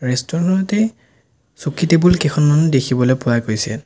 Restaurant টেই চকী টেবুল কেইখনমানো দেখিবলৈ পোৱা গৈছে।